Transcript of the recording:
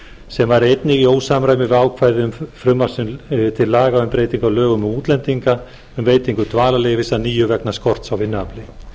sem væri einnig í ósamræmi við ákvæði frumvarps til laga um breytingu á lögum um útlendinga um veitingu dvalarleyfis að nýju vegna skorts á vinnuafli